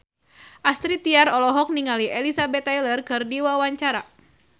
Astrid Tiar olohok ningali Elizabeth Taylor keur diwawancara